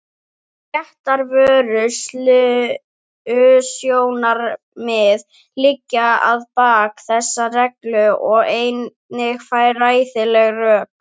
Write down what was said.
Réttarvörslusjónarmið liggja að baki þessum reglum og einnig fræðileg rök.